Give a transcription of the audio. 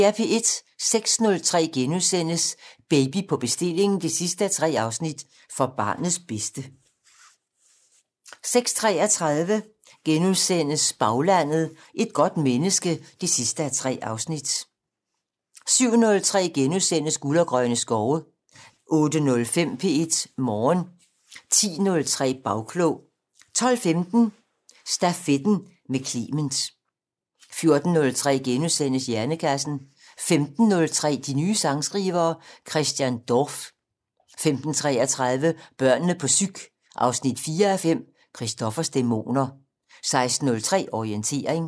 06:03: Baby på bestilling 3:3: For barnets bedste * 06:33: Baglandet: Et godt menneske 3:3 * 07:03: Guld og grønne skove * 08:05: P1 Morgen 10:03: Bagklog 12:15: Stafetten med Clement 14:03: Hjernekassen * 15:03: De nye sangskrivere 4:5 - Christian Dorph 15:33: Børnene på psyk 4:5 - Christoffers dæmoner 16:03: Orientering